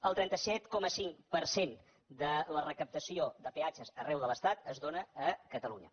el trenta set coma cinc per cent de la recaptació de peatges arreu de l’estat es dóna a catalunya